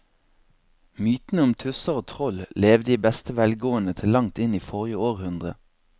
Mytene om tusser og troll levde i beste velgående til langt inn i forrige århundre.